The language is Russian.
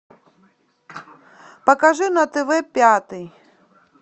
покажи на тв пятый